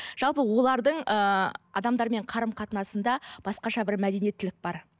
жалпы олардың ыыы адамдармен қарым қатынасында басқаша бір мәдениеттілік бар